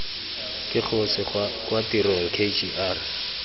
ke kgosi kwa tirong kgr